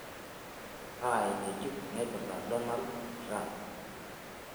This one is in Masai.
kaa eng'ejuk naipirta donald trump